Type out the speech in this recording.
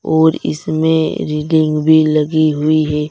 और इसमें रेलिंग भी लगी हुई है।